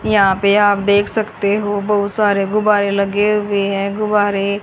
यहां पे आप देख सकते हो बहुत सारे गुब्बारे लगे हुए हैं गुब्बारे।